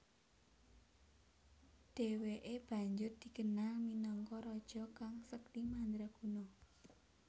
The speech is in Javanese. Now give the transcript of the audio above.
Dheweke banjur dikenal minangka raja kang sekti mandraguna